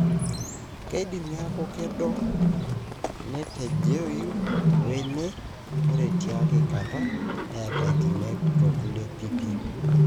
kindim niaku kedoo, netejeyu we-eme, ore tiai kataa neeta inkimek tokulie pipii.